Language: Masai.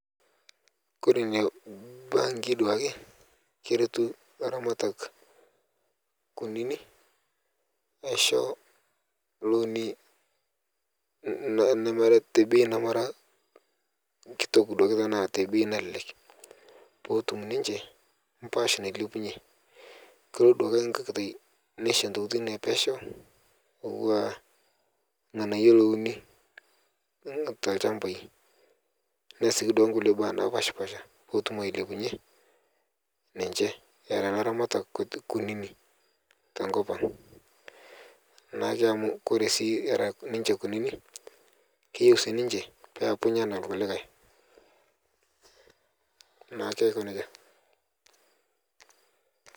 Kore nenia benki duake keretu laramatak kunini neisho looni namara tebei namara nkitok duake namara tepei nalelek potum ninche mpash nailepunye kolo duake nkae katai neisho ntokitin epesheu atua lng'anayuo louni telshambai neas sii duake nkule baa napashpasha petum ailepunye ninche era laramatak kunini tenkop ang nake amu kore ara ninche kunini keyeu sii ninche peapunye tana nkulikae naake ako neja.